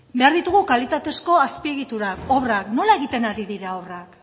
behar ditugu kalitatezko azpiegitura obrak nola egiten ari dira obrak